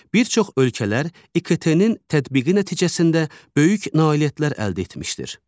Bir çox ölkələr İKT-nin tətbiqi nəticəsində böyük nailiyyətlər əldə etmişdir.